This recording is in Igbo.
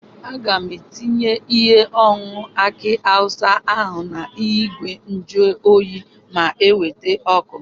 Aga m etinye ihe ọnụnọ aki awụsa ahụ na ìgwè njuoyi ma eweta ọkụ.